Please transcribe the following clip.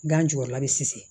Gan jukɔrɔla bɛ sisi